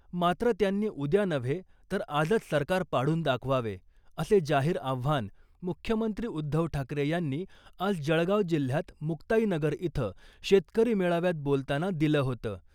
मात्र , त्यांनी उद्या नव्हे तर आजच सरकार पाडून दाखवावे , असे जाहीर आव्हान मुख्यमंत्री उद्धव ठाकरे यांनी आज जळगाव जिल्ह्यात मुक्ताईनगर इथं शेतकरी मेळाव्यात बोलताना दिलं होतं .